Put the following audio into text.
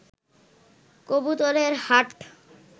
কবুতরের হাট